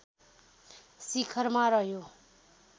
शिखरमा रह्यो